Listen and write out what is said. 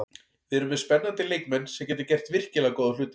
Við erum með spennandi leikmenn sem geta gert virkilega góða hluti.